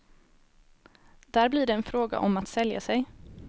Där blir det en fråga om att sälja sig.